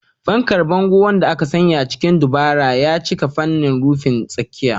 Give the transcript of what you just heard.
Fankar bangon, wanda aka sanya shi cikin dabara, ya cika fanin rufin tsakiya.